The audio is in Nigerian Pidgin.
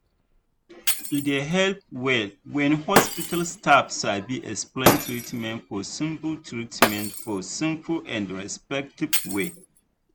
e dey help well when hospital staff sabi explain treatment for simple treatment for simple and respectful way.